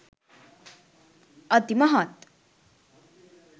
අති මහත්